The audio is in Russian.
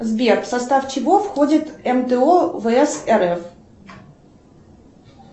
сбер в состав чего входит мто вс рф